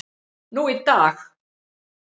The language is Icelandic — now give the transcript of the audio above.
nú í dag.